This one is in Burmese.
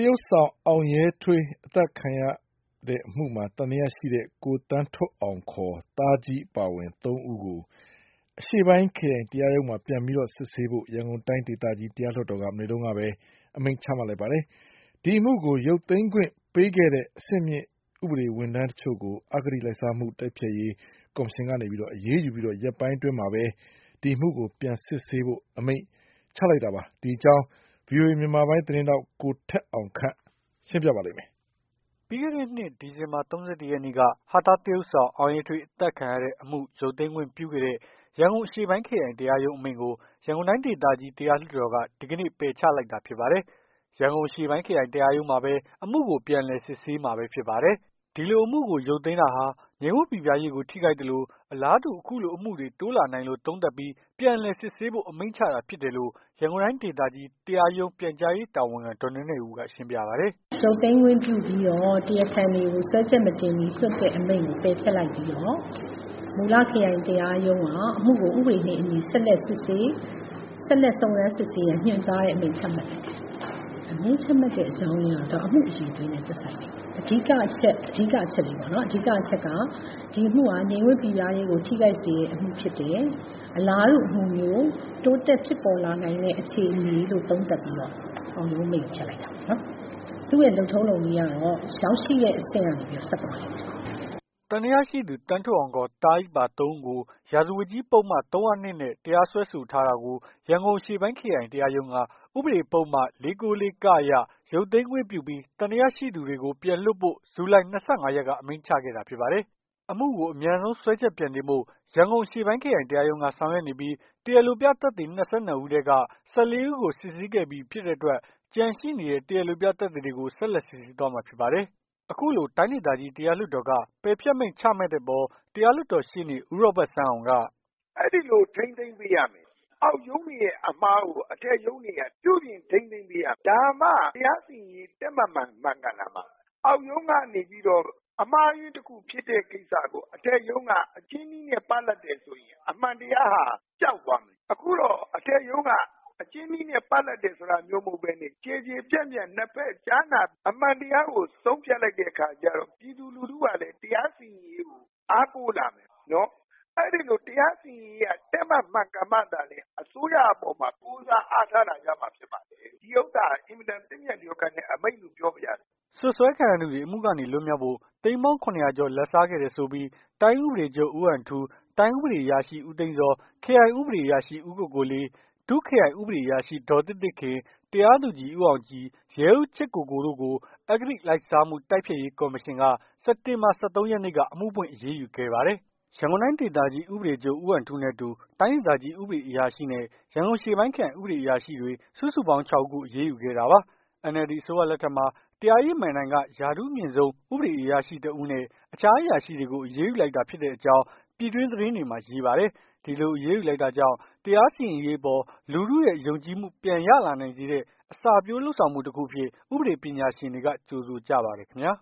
ရုပ်ဆောင် အောင်ရဲထွေး အသတ်ခံရမှုမှာ သံသယရှိသူ သန်းထွဋ်အောင် (ခ) သားကြီး ပါ (၃) ဦးကို မူလ အရှေ့ပိုင်းခရိုင်တရားရုံးမှာ ပြန်လည် စစ်ဆေးဖို့ ရန်ကုန်တိုင်းဒေသကြီး တရားလွှတ်တော်က စက်တင်ဘာ(၂၄) မနေ့က အမိန့်ချမှတ်လိုက်ပါတယ်။ ဒီအမှုကို ရုပ်သိမ်းခွင့်ပေးခဲ့တဲ့ အဆင့်မြင့်ဥပဒေ အရာထမ်းတချို့ကို အဂတိလိုက်စားမှု တိုက်ဖျက်ရေး ကော်မရှင်က အရေးယူပြီး ရက်ပိုင်းအတွင်းမှာပဲ အမှုကို ပြန်လည်စစ်ဆေးဖို့ အမိန့်ချမှတ်လိုက်တာပါ။ ဒီအကြောင်းကို ဗွီအိုအေ မြန်မာပိုင်း သတင်းထောက် ကိုထက်အောင်ခန့်က သတင်းပေးပို့ထားပါတယ်။ ပြီးခဲ့တဲ့နှစ် ဒီဇင်ဘာလ ၃၁ ရက်နေ့က ဟာသသရုပ်ဆောင် အောင်ရဲထွေးအသတ်ခံရတဲ့ အမှု ရုတ်သိမ်းခွင့်ပြုခဲ့တဲ့ ရန်ကုန်အရှေ့ပိုင်းခရိုင်တရားရုံး အမိန့်ကို ရန်ကုန်တိုင်းဒေသကြီး တရားလွှတ်တော်က ဒီကနေ့ ပယ်ချလိုက်တာ ဖြစ်ပါတယ်။ ရန်ကုန်အရှေ့ပိုင်း ခရိုင်တရားရုံးမှာပဲ အမှုကို ပြန်လည်စစ်ဆေးမှာဖြစ်ပါတယ်။ ဒီလို အမှုကို ရုတ်သိမ်းခဲ့တဲ့တာဟာ ငြိမ်းဝပ်ပိပြားရေးကို ထိခိုက်သလို၊ အလားတူ အခုလိုအမှုတွေ တိုးလာနိုင်တယ်လို့ သုံးသပ်ပြီး ပြန်လည်စစ်ဆေးဖို့ အမိန့်ချတာ ဖြစ်တယ်လို့ ရန်ကုန်တိုင်းဒေသကြီး တရားရုံး ပြန်ကြားရေးတာဝန်ခံ ဒေါ်နွဲ့နွဲ့ဦးက ရှင်းပြပါတယ်။ "ရုပ်သိမ်းခွင့်ပြုပြီးတော့ တရားခံတွေကို စွဲချက်မတင်မီ လွှတ်တဲ့အမိန့်ကို ပယ်ဖျက်လိုက်ပြီးတော့ မူလခရိုင် တရားရုံးက အမှုကိုဥပဒေနဲ့အညီ ဆက်လက်စစ်ဆေး ဆက်လက်စုံစမ်း စစ်ဆေးရန် ညွှန်ကြားတဲ့အမိန့် ချမှတ်တယ်။ အမိန့်ချမှတ်တဲ့အကြောင်းအရင်းကတော့ အမှုအရည်အသွေးနဲ့သက်ဆိုင်လိမ့်မယ်။ အဓိက အချက်က ဒီအမှုက ငြိမ်းဝပ်ပိပြားရေးကို ထိခိုက်စေတဲ့အမှုဖြစ်တယ်။ အလားတူအမှုမျိုး တိုးတက်ဖြစ်ပေါ် လာနိုင်တဲ့ အခြေအနေလို့ သုံးသပ်ပြီးတော့ ခုံရုံးအမိန့်ကို ဖျက်လိုက်တာပေါ့။ သူ့ရဲ့လုပ်ထုံးလုပ်နည်းကတော့ ရောက်ရှိတဲ့အဆင့်ကနေပြီး ဆက်သွားလိမ့်မယ်။" သံသယရှိသူ သန်းထွဋ်အောင်(ခ) သားကြီးပါ ၃ ဦးကို ရာဇဝတ်ကြီးပုဒ်မ ၃၀၂ နဲ့ စွဲဆိုထားတာကို ရန်ကုန်အရှေ့ပိုင်းခရိုင်တရားရုံးက ဥပဒေပုဒ်မ ၄၉၄(က) အရ ရုပ်သိမ်းခွင့်ပြုပြီး သံသယရှိသူတွေကို ပြန်လွှတ်ဖို့ ဇူလှိုင် ၂၅ ရက်က အမိန့်ချမှတ်ခဲ့ပါတယ်။ အမှုကို အမြန်ဆုံး စွဲချက် ပြန်တင်ဖို့ ရန်ကုန်အရှေ့ပိုင်း ခရိုင်တရားရုံးက ဆောင်ရွက်နေပြီး တရားလိုပြသက်သေ ၂၂ ဦးထဲက ၁၄ ဦးကို စစ်ဆေးခဲ့ပြီးပြီ ဖြစ်တဲ့အတွက်၊ ကျန်ရှိနေတဲ့ တရားလိုပြ သက်သေတွေကို ဆက်လက်စစ်ဆေးသွားမှာ ဖြစ်ပါတယ်။ အခုလို တိုင်းဒေသကြီး တရားလွှတ်တော်က ပယ်ဖျက်မိန့် ချမှတ်လိုက်တဲ့အပေါ် တရားလွှတ်တော်ရှေ့နေ ဦးရောဘတ်စန်းအောင်က "အဲ့ဒီလိုထိန်းသိမ်းပေးရမယ်။ အောက်ရုံးတွေရဲ့အမှားကို အထက်ရုံးတွေက ပြုပြင်ထိန်းသိမ်းပေးရမယ်။ ဒါမှ တရားစီရင်ရေး တည့်မတ် မှန်ကန်လာမှာ။ အောက်ရုံးကနေပြီးတော့ အမှားယွင်းတခု ဖြစ်တဲ့ကိစ္စကို အထက်ရုံးက အကျဉ်းနည်းနဲ့ ပလပ်တယ်ဆိုရင် အမှန်တရားကပျောက်သွားမယ်။ အခုတော့ အထက်ရုံးက အကျဉ်းနည်းနဲ့ ပလပ်တာမျိုးမဟုတ်ဘဲနဲ့ ကျယ်ကျယ်ပြန့်ပြန့် ၂ ဖက်ကြားနာ အမှန်တရားကိုဆုံးဖြတ်လိုက် တဲ့အခါကျတော့ ပြည်သူလူထုက တရားစီရင်ရေးကို အားကိုးလာမယ်။ အဲ့ဒီလို တရားစီရင်ရေးက တည့်မတ် မှန်ကန်မှသာလျှင် အစိုးရအပေါ်မှာ ကိုးစားအားထားလာကြမှာ ဖြစ်ပါတယ်။ ဒီဥစ္စာဟာ အင်မတန် သင့်မြတ် လျော်ကန်တဲ့အမိန့်လို့ ပြောပြရစေ။" စွပ်စွဲခံရသူတွေ အမှုကနေ လွတ်မြောက်ဖို့ သိန်းပေါင်း ၇၀၀ ကျော် လာဘ်စားခဲ့တယ်ဆိုပြီး၊ တိုင်းဥပဒေချုပ် ဦးဟန်ထူး ၊ တိုင်းဥပဒေအရာရှိ ဦးသိန်းဇော် ၊ ခရိုင်ဥပဒေအရာရှိ ဦးကိုကိုလေး ၊ ဒုခရိုင်ဥပဒအေရာရှိ ဒေါ်သစ်သစ်ခင် ၊ တရားသူကြီး ဦးအောင်ကြည် ၊ ရဲအုပ်ချစ်ကိုကို တို့ကို အဂိတလိုက်စားမှု တိုက်ဖျက်ရေးကော်မရှင်က စက်တင်ဘာ ၁၃ ရက်နေ့က အမှုဖွင့်အရေးယူခဲ့ပါတယ်။ ရန်ကုန်တိုင်း ဒေသကြီး ဥပဒေချုပ် ဦးဟန်ထူးနဲ့အတူ တိုင်းဒေသကြီး ဥပဒေအရာရှိနဲ့ ရန်ကုန်အရှေ့ပိုင်းခရိုင် ဥပဒေအရာရှိတွေ စုစုပေါင်း ၆ ဦးကို ရေးယူခဲ့တာပါ။ NLD အစိုးရလက်ထက်မှာ တရားရေးမဏ္ဍိုင်က ရာထူးအမြင့်ဆုံး ဥပဒေအရာရှိတစ်ဦးနဲ့ တခြားအရာရှိတွေကို အရေးယူလိုက်တာ ဖြစ်တဲ့အကြောင်း ပြည်တွင်း သတင်းတွေမှာ ရေးပါတယ်။ ဒီလို အရေးယူလိုက်တာကြောင့် တရားစီရင်ရေးအပေါ် လူထုရဲ့ယုံကြည်မှု ပြန်ရလာနိုင်စေတဲ့ အစပျိုးလုပ်ဆောင်မှု တခုအဖြစ် ဥပဒေပညာရှင်တွေက ကြိုဆိုကြပါတယ်ခင်ဗျာ